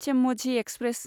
चेम्मझि express